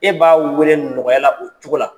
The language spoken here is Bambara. E b'a weele nɔgɔyala o cogo la.